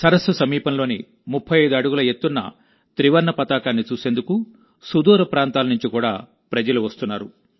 సరస్సు సమీపంలోని35 అడుగుల ఎత్తున్న త్రివర్ణ పతాకాన్ని చూసేందుకు సుదూర ప్రాంతాల నుంచి కూడా ప్రజలు వస్తున్నారు